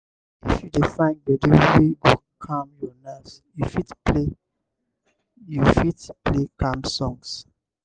if you dey find gbedu wey go calm your nerves you fit play you fit play calm songs